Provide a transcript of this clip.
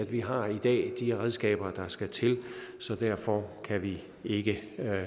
vi har i dag de redskaber der skal til så derfor kan vi ikke